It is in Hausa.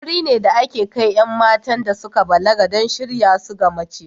Wuri ne da ake kai 'yan matan da suka balaga don shirya su ga mace.